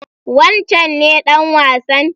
Wancen ne ɗan wasan?